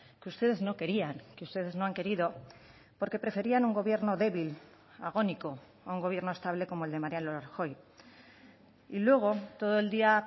que ustedes no querían que ustedes no han querido porque preferían un gobierno débil agónico a un gobierno estable como el de mariano rajoy y luego todo el día